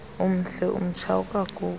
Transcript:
umhle umtsha awukagugi